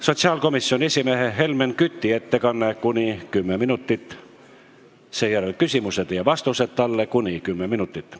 Sotsiaalkomisjoni esimehe Helmen Küti ettekanne, mis kestab kuni 10 minutit, seejärel on küsimused ja vastused, mis kestavad kuni 10 minutit.